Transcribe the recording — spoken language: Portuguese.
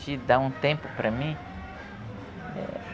De dar um tempo para mim.